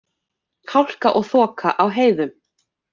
Hálka og þoka á heiðum